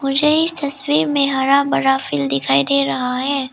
मुझे इस तस्वीर में हरा भरा फिल्म दिखाई दे रहा है।